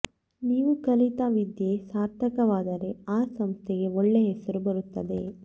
ನೀವು ಕಲಿತ ವಿದ್ಯೆ ಸಾರ್ಥಕವಾದರೆ ಆ ಸಂಸ್ಥೆಗೆ ಒಳ್ಳೆ ಹೆಸರು ಬರುತ್ತದೆ